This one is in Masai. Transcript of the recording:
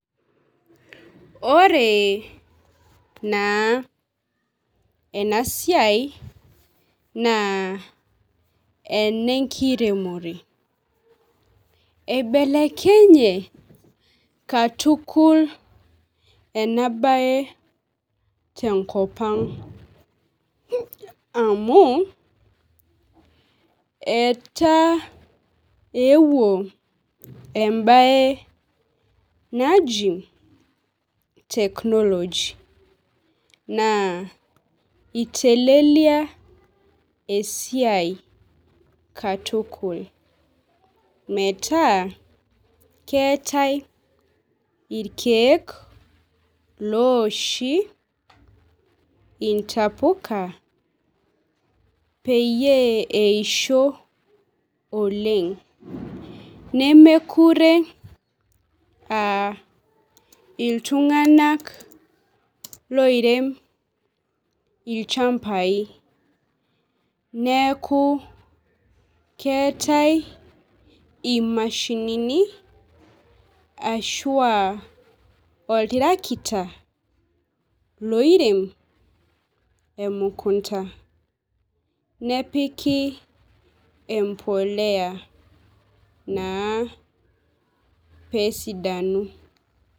Ore naa enasiai naa enenkiremore eibelekenye katukul enaae tenkopang amu etaa ewuo embae naji technology naa itelelia esia katukul metaa keetae irkiek looshi intapuka peyie eisho oleng , nemekure aa iltunganak loirem ilchamai neku keetae imashinini ashua oltarakita loirem emukunta nepiki empolea naa pesidanu.